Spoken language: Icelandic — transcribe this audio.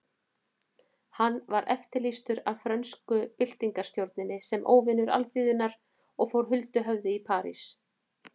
Hann var eftirlýstur af frönsku byltingarstjórninni sem óvinur alþýðunnar og fór huldu höfði í París.